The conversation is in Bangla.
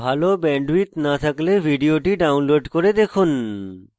ভাল bandwidth না থাকলে ভিডিওটি download করে দেখুন